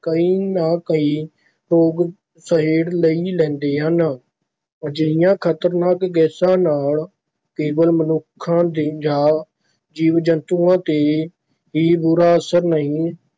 ਕੋਈ ਨਾ ਕੋਈ ਰੋਗ ਸਹੇੜ ਹੀ ਲੈਂਦੇ ਹਨ, ਅਜਿਹੀਆਂ ਖ਼ਤਰਨਾਕ ਗੈਸਾਂ ਨਾਲ ਕੇਵਲ ਮਨੁੱਖਾਂ ਜਾਂ ਜੀਵ ਜੰਤੂਆਂ ‘ਤੇ ਹੀ ਬੁਰਾ ਅਸਰ ਨਹੀਂ